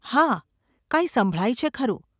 ‘હા; કાંઈ સંભળાય છે ખરું.